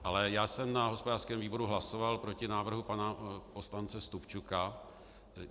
Ale já jsem na hospodářském výboru hlasoval proti návrhu pana poslance Stupčuka.